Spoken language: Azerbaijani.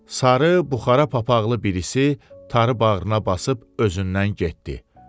Sarı buxara papaqqlı birisi tarı bağrına basıb özündən getdi.